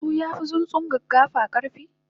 tsuntsu yafi sunfi gaggafa karfi?